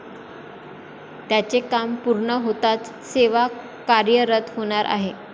त्याचे काम पूर्ण होताच सेवा कार्यरत होणार आहे.